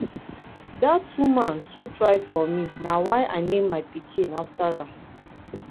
dat woman too try for me na why i name my pikin after am.